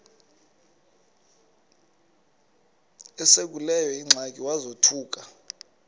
esekuleyo ingxaki wazothuka